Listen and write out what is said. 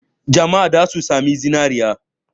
Jama'a za su sami zinare.